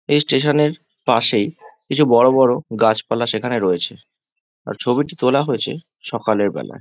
এই স্টেশন এর পাশেই কিছু বড়-বড় গাছপালা সেখানে রয়েছে আর ছবিটি তোলা হয়েছে সকালের বেলায়।